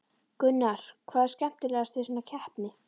Gunnar: Hvað er skemmtilegast við svona keppni?